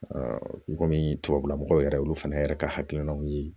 i kɔmi tubabula mɔgɔw yɛrɛ olu fana yɛrɛ ka hakilinaw ye